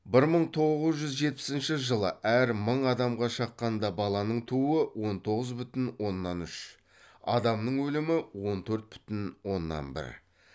бір мың тоғыз жүз жетпісінші жылы әр мың адамға шаққанда баланың тууы он тоғыз бүтін оннан үш адамның өлімі он төрт бүтін оннна бір